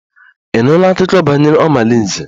Ị nụla akụkọ banyere omalinze?